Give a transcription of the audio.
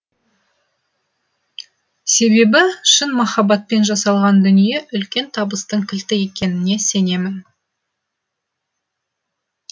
себебі шын махаббатпен жасалған дүние үлкен табыстың кілті екеніне сенемін